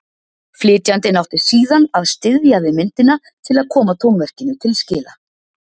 Flytjandinn átti síðan að styðjast við myndina til að koma tónverkinu til skila.